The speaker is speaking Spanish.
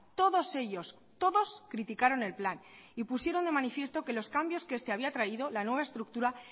todos ellos todos criticaron el plan y pusieron de manifiesto que los cambios que este había traído la nueva estructura